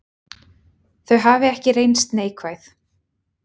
Þau hafi ekki reynst neikvæð.